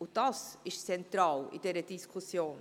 Dies ist zentral in dieser Diskussion.